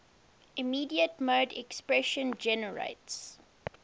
immediate mode expression generates